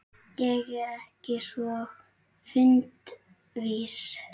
Ég er ekki svo fundvís